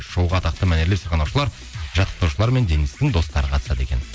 шоуға атақты мәнерлеп сырнағаушылар жаттықтырушылар мен денистің достары қатысады екен